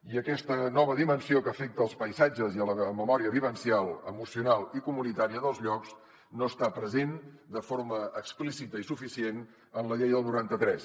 i aquesta nova dimensió que afecta els paisatges i la memòria vivencial emocional i comunitària dels llocs no està present de forma explícita i suficient en la llei del noranta tres